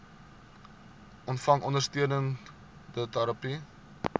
ontvang ondersteunende terapie